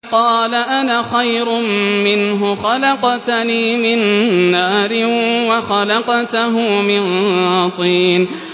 قَالَ أَنَا خَيْرٌ مِّنْهُ ۖ خَلَقْتَنِي مِن نَّارٍ وَخَلَقْتَهُ مِن طِينٍ